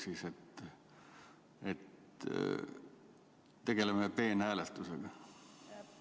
Kas me tegeleme peenhäälestusega?